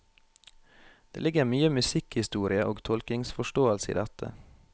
Det ligger mye musikkhistorie og tolkningsforståelse i dette.